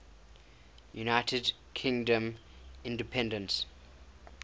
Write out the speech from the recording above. united kingdom independence